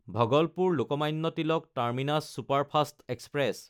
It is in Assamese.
ভগলপুৰ–লোকমান্য তিলক টাৰ্মিনাছ ছুপাৰফাষ্ট এক্সপ্ৰেছ